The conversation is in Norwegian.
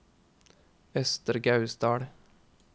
Østre Gausdal